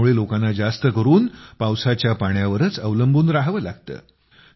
त्यामुळे लोकांना जास्त करून पावसाच्या पाण्यावरच अवलंबून रहावं लागतं